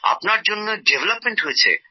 আপনার জন্যে ডেভলপমেন্ট হয়েছে